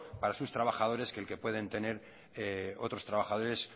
para sus trabajadores que el que puede tener otros trabajadores